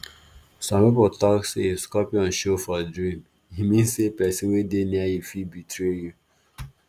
some people talk say if scorpion show for dream e mean say person wey dey near you fit betray you.